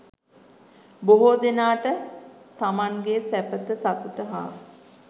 බොහෝ දෙනාට තමන් ගේ සැපත සතුට හා